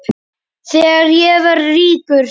Þegar ég verð ríkur.